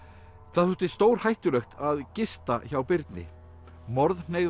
það þótti stórhættulegt að gista hjá Birni